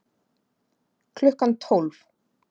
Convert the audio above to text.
Klukkan tólf